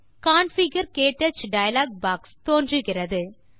configure - க்டச் dialogue box தோன்றுகிறது